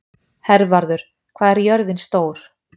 Hervarður, hvað er jörðin stór?